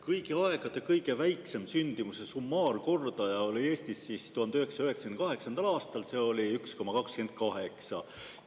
Kõigi aegade kõige väiksem sündimuse summaarkordaja Eestis oli 1998. aastal – see oli 1,28.